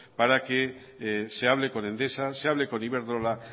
para que se hable con endesa se hable con iberdrola